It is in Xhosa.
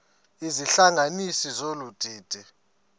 izihlanganisi zolu didi